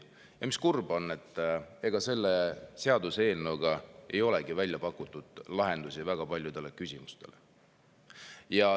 Ja kurb on see, et ega selle seaduseelnõuga ei olegi väga paljudele küsimustele lahendusi välja pakutud.